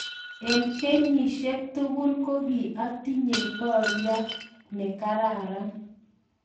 Eng kenyisiek tugul ko ki atinyei borya ne kararan